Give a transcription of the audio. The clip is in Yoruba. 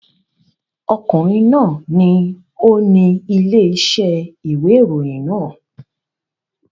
Ọkùnrin náà ni ó ni ilé-iṣẹ́ ìwé ìròyìn náà.